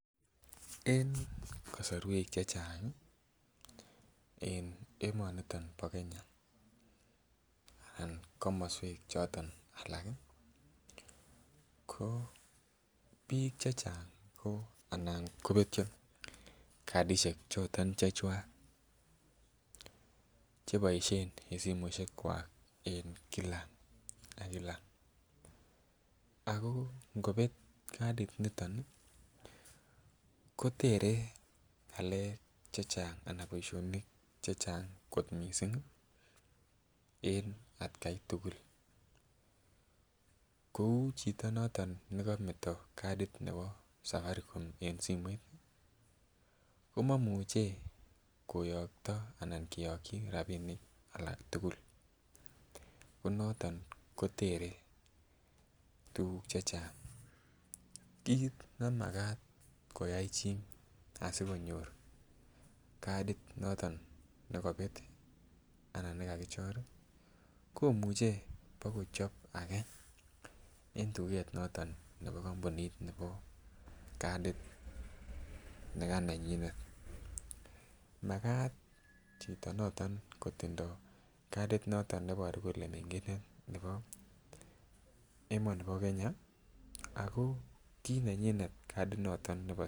En kosorwek chechang en emoniton bo Kenya anan komoswek choton alak ko biik chechang ko anan kobetyo cardishek choton chechwag che boishen en simoishekwak en kila ak kila ako ngobet cardit niton ii kotere ngalek chechang anan boisionik chechang kot missing en atkai tugul. Kouu chito noton ne kometo cardit nebo Safaricom en simoit ii ko momuche koyogto ana kiyogyi rabinik alak tugul ko noton kotere tuguk chechang. Kit ne makat kayay chi asikonyor cardit noton ne kobet ii anan ne kakichor ii komuche bokochob age en tuget noton nebo kompunit nebo cardit nekanenyinet. Makat Chito noton kotindo cardit noton ne boru kolee mengindet noton nebo emonibo Kenya ako kii nenyinet cardit noton